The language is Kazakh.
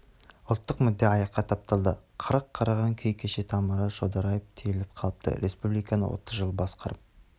ұлттық мүдде аяққа тапталды қырын қараған күй шеке тамыры шодырайып түйіліп қалыпты республиканы отыз жыл басқарып